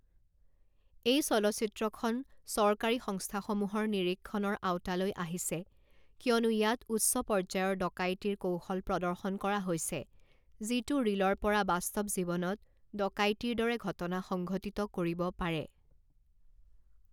এই চলচ্চিত্ৰখন চৰকাৰী সংস্থাসমূহৰ নিৰীক্ষণৰ আওতালৈ আহিছে কিয়নো ইয়াত উচ্চ পৰ্যায়ৰ ডকাইতিৰ কৌশল প্ৰদৰ্শন কৰা হৈছে যিটো ৰিলৰ পৰা বাস্তৱ জীৱনত ডকাইতিৰ দৰে ঘটনা সংঘটিত কৰিব পাৰে।